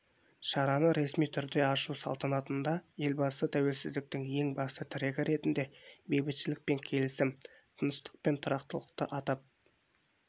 шараны ресми ашу салтанатында елбасытәуелсіздіктің ең басты тірегі ретінде бейбітшілік пен келісім тыныштық пен тұрақтылықты атап